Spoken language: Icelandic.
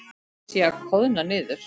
Sé að koðna niður.